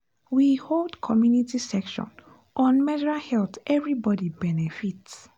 we hold community section on mesral health everybody benefit.